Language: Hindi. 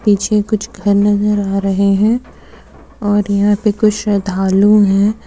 पीछे कुछ घर नजर आ रहे हैं और यहां पे कुछ श्रद्धालु हैं।